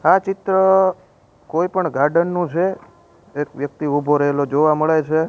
આ ચિત્ર કોઈ પણ ગાર્ડન નું છે એક વ્યક્તિ ઉભો રહેલો જોવા મળે છે.